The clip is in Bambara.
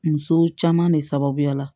Muso caman de sababuya la